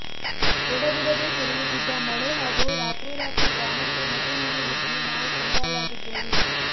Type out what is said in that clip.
ಎಡಬಿಡದೇ ಸುರಿಯುತ್ತಿದ್ದ ಮಳೆ ಹಾಗೂ ರಾತ್ರೋರಾತ್ರಿ ಗ್ರಾಮಕ್ಕೆ ನದಿ ನೀರು ನುಗ್ಗಿ ನಾವು ಕಂಗಾಲಾಗಿದ್ದೇವು